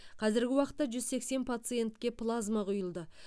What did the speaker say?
қазіргі уақытта жүз сексен пациентке плазма құйылды